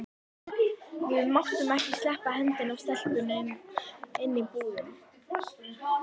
Við máttum ekki sleppa hendinni af stelpunni inni í búðum.